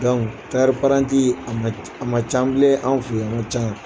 tayɛri paranti a man a man can bile an fɛ ye a man can